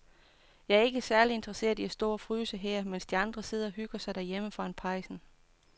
Jeg er ikke særlig interesseret i at stå og fryse her, mens de andre sidder og hygger sig derhjemme foran pejsen.